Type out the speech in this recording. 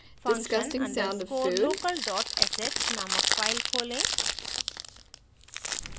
function _ undescore local sh named file खोलें